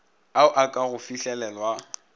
ao a ka go fihlelelwa